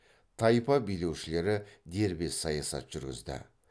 тайпа билеушілері дербес саясат жүргізді